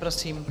Prosím.